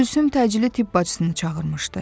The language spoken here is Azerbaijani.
Gülsüm təcili tibb bacısını çağırmışdı.